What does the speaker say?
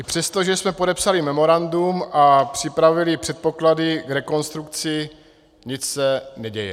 I přesto, že jsme podepsali memorandum a připravili předpoklady k rekonstrukci, nic se neděje.